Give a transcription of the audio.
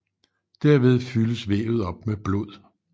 Derved fyldes vævet op med blod